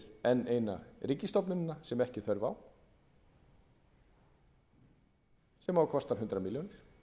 eina ríkisstofnunina sem ekki er þörf á sem á að kosta hundrað milljónir